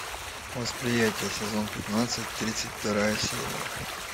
восприятие сезон пятнадцать тридцать вторая серия